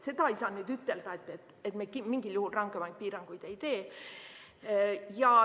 Seda ei saa nüüd ütelda, et me mingil juhul rangemaid piiranguid ei tee.